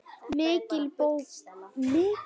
Mikinn bobba.